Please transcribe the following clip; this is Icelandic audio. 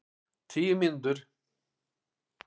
Tíu mínútur?